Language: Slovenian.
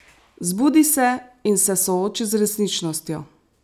Zbudi se in se sooči z resničnostjo.